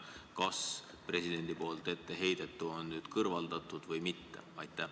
Kas presidendi etteheidetu on nüüd kõrvaldatud või mitte?